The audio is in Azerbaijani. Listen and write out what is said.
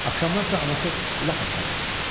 Axşamlar isə anası lap əsəb olurdu.